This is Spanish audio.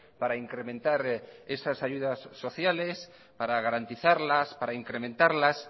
para incrementar esas ayudas sociales para garantizarlas para incrementarlas